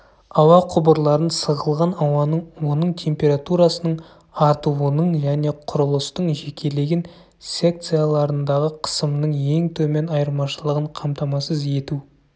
ауа құбырларын сығылған ауаның оның температурасының артуының және құрылыстың жекелеген секцияларындағы қысымның ең төмен айырмашылығын қамтамасыз ету